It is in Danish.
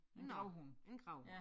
Nåh en gravhund